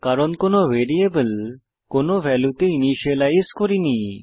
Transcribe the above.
কারণ কোনো আমরা ভ্যারিয়েবল কোনো ভ্যালুতে ইনিসিয়েলাইজ করিনি